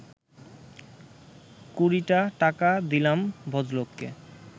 কুড়িটা টাকা দিলাম ভদ্রলোককে